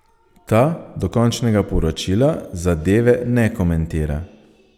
Ta do končnega poročila zadeve ne komentira.